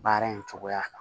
Baara in cogoya kan